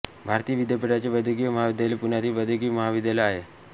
भारती विद्यापीठाचे वैद्यकीय महाविद्यालय पुण्यातील वैद्यकीय महाविद्यालय आहे